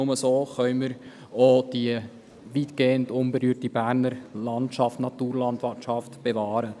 Nur so können wir die weitgehend unberührte Berner Naturlandschaft bewahren.